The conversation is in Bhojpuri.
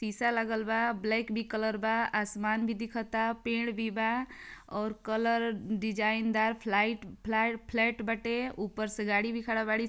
सीसा लागल बा ब्लैक भी कलर बा आसमान भी दिखता पेड भी बा और कलर डिज़ाइन दार फ्लाइट फ्लैट बाटे ऊपर से गाडी भी खड़ा बड़ी |